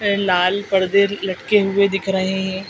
ये लाल पर्दे लटके हुए दिख रहे हैं।